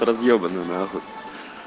разъебаны нахуй